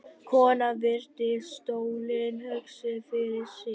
Konan virti stólinn hugsi fyrir sér.